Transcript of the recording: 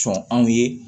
Sɔn anw ye